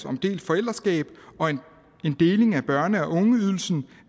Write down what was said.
om delt forældreskab og en deling af børne og ungeydelsen